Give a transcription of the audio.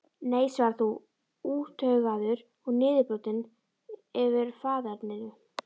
Nei svarar þú, úttaugaður og niðurbrotinn yfir faðerninu.